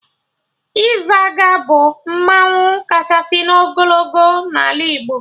Izaga bụ mmanwụ kachasị n'ogologo n'ala Igbo